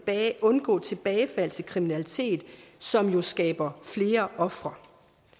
at undgå tilbagefald til kriminalitet som jo skaber flere ofre